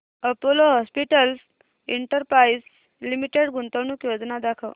Apollo hospitals enterprise limited गुंतवणूक योजना दाखव